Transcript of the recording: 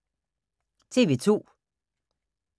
TV 2